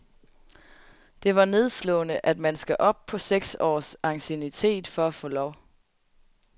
Det var nedslående, at man skal op på seks års anciennitet for få lov.